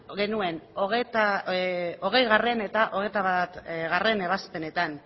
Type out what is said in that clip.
genuen hogeigarrena eta hogeita batgarrena ebazpenetan